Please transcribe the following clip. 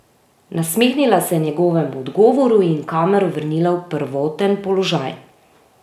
Nasmehnila se je njegovemu odgovoru in kamero vrnila v prvoten položaj.